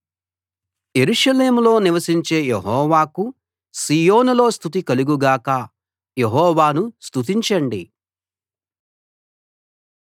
యెరూషలేములో నివసించే యెహోవాకు సీయోనులో స్తుతి కలుగు గాక యెహోవాను స్తుతించండి